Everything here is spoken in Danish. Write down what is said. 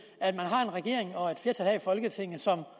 at man har en regering og et flertal her i folketinget som